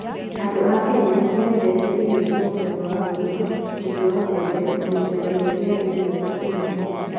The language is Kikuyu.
Andũ a Kenya nĩ mendete irio cia mũthemba wa ugali, mũtu wa mbembe, na mĩthemba mĩingĩ ya irio cia kũruga.